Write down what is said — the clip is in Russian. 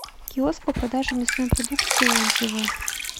киоск по продаже мясной продукции отзывы